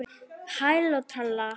Flest var orðið breytt.